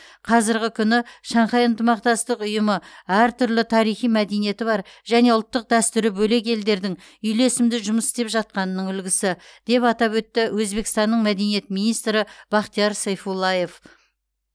қазіргі күні шанхай ынтымақтастық ұйымы әртүрлі тарихи мәдениеті бар және ұлттық дәстүрі бөлек елдердің үйлесімді жұмыс істеп жатқанының үлгісі деп атап өтті өзбекстанның мәдениет министрі бахтиер сайфуллаев